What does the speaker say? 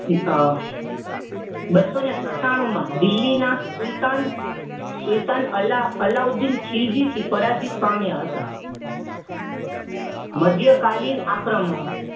અ બસો ને સતાનું માં દિલ્લી ના સુલતાન સુલતાન અલાઉ અલાઉદ્દીન ખીલજી થી પરાજિત પામ્યા હતા. મધ્યકાલીન આક્રમનો